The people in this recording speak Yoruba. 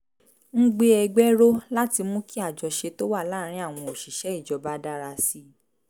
ń gbé ẹgbẹ́ ró láti mú kí àjọṣe tó wà láàárín àwọn òṣìṣẹ́ ìjọba dára sí i